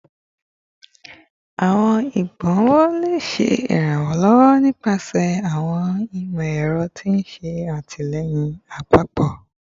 Awọn igbonwo le ṣe iranlọwọ nipasẹ awọn imọ-ẹrọ ti n ṣe atilẹyin apapọ